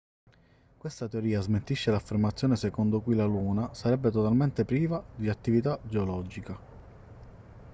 questa teoria smentisce l'affermazione secondo cui la luna sarebbe totalmente priva di attività geologica